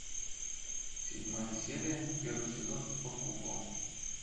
седьмая серия первый сезон под куполом